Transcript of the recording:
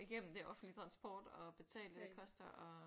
Igennem det offentlige transport og betale det det koster og